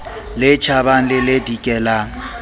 le tjhabang le le dikelang